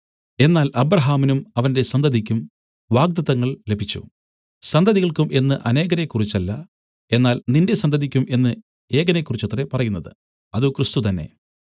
എന്നാൽ അബ്രാഹാമിനും അവന്റെ സന്തതിയ്ക്കും വാഗ്ദത്തങ്ങൾ ലഭിച്ചു സന്തതികൾക്കും എന്ന് അനേകരെക്കുറിച്ചല്ല എന്നാൽ നിന്റെ സന്തതിയ്ക്കും എന്ന് ഏകനെക്കുറിച്ചത്രേ പറയുന്നത് അത് ക്രിസ്തു തന്നെ